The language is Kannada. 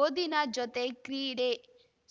ಓದಿನ ಜೊತೆ ಕ್ರೀಡೆ